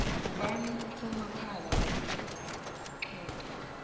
ngubani usomapala wepixate